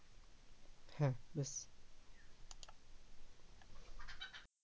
হ্যা বেশ।